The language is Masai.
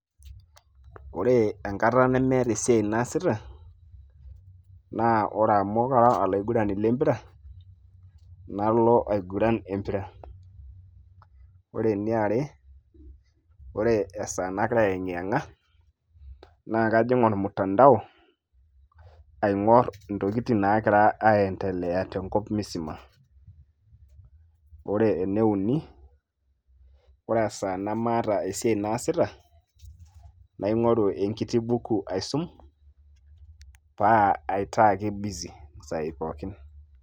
Ore enkata nemeeta esiai naasita naa ore amu kara olaigurani le mpira nalo aiguran empira ore eniare ore esaa nagira ayeng'i yeng'a naa kajing ormutandao aing'orr intokitin naagira aendelea tenkop misima ore ene uni ore esaa nemaata esiai naasita naing'oru enkiti buku aisum paa aitaa ake busy isaai pookin.